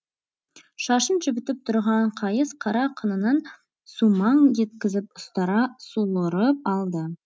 шашын жібітіп тұрған қайыс қара қынынан сумаң еткізіп ұстара суырып алды